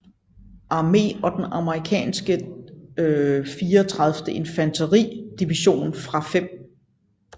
Armé og den amerikanske 34th Infantry Division fra 5